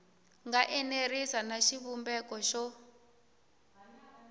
nga enerisi na xivumbeko xo